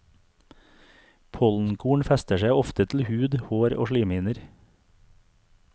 Pollenkorn fester seg ofte til hud, hår og slimhinner.